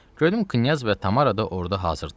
Gördüm Knyaz və Tamara da orda hazır idilər.